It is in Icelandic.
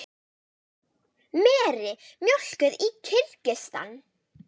Meri mjólkuð í Kirgistan.